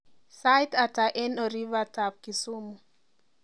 Sait ata eng orifatab Kisumu